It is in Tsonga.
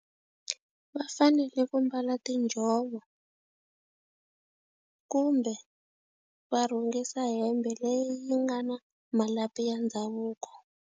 Va fanele ku mbala tinjhovo, kumbe va rhungisa hembe leyi yi nga na malapi ya ndhavuko.